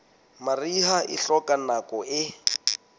mariha e hloka nako e